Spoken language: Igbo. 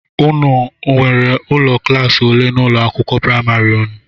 Ụnụ nwèrè ụlọ klaasi ole n'ụlọ akwụkwọ praịmarị ụnụ?